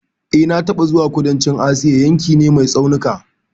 E, na taɓa zuwa kudancin Asia, yankin ne mai tsaunuka